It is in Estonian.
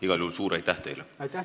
Igal juhul suur aitäh teile!